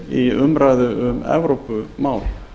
í umræðu um evrópumál